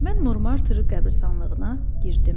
Mən Monmarter qəbiristanlığına girdim.